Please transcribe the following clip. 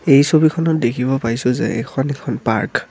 এই ছবিখনত দেখিব পাইছোঁ যে এইখন এখন পাৰ্ক ।